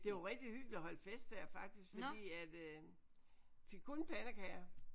Det var rigtig hyggeligt at holde fest der faktisk fordi at øh vi fik kun pandekager